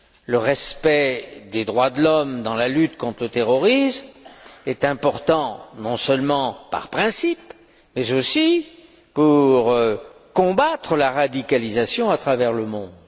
Le respect des droits de l'homme dans la lutte contre le terrorisme est important non seulement par principe, mais aussi pour combattre la radicalisation à travers le monde.